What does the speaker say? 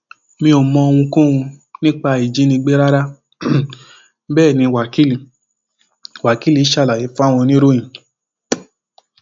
mi ò mọ ohunkóhun nípa ìjínigbé rárá um bẹẹ ní wákilì wákilì ṣàlàyé fáwọn oníròyìn um